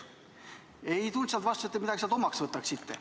Ei tulnud vastuseks, et te midagi sellest omaks võtaksite.